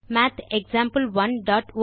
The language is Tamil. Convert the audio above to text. மாத் example1ஒட்ட்